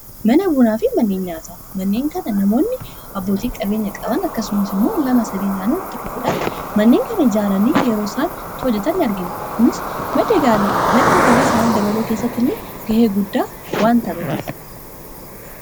mana buunaa fi manneen nyaata manneen kana namoonni abbootii qabeenya-qaban akkasumasimuu lama sadeenaaniu itti dhufuudhan manneen kana ijaaranii yeroo isaantti hojetan argina kunis maddagalii isaanii dabaloo keessatti illee ga'ee guddaa waan taba'a